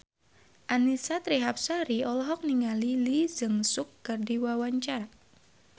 Annisa Trihapsari olohok ningali Lee Jeong Suk keur diwawancara